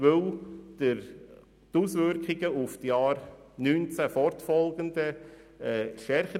Die Auswirkungen auf die Jahre 2019 und fortfolgende wären stärker.